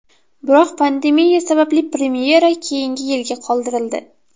Biroq pandemiya sababli premyera keyingi yilga qoldirildi.